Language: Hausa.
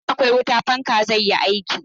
Idan akwai wuta, fanka zai yi aiki.